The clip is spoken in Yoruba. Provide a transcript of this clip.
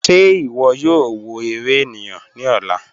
Ṣẹ̀ ìwọ̀ yóò wọ̀ èrè ènìyàn ni ọ̀lá?"